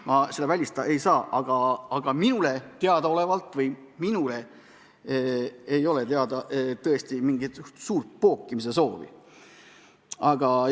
Ma seda välistada ei saa, aga minu teada mingit suurt pookimissoovi ei ole.